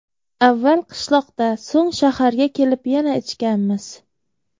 Avval qishloqda, so‘ng shaharga kelib yana ichganmiz.